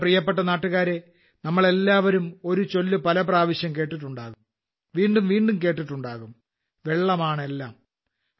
എന്റെ പ്രിയപ്പെട്ട നാട്ടുകാരേ നമ്മളെല്ലാവരും ഒരു ചൊല്ല് പല പ്രാവശ്യം കേട്ടിട്ടുണ്ടാകും ഒട്ടേറെ തവണ കേട്ടിട്ടുണ്ടാകും വെള്ളമാണെല്ലാം